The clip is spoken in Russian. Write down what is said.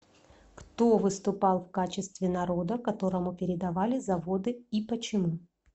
кто выступал в качестве народа которому передавались заводы и почему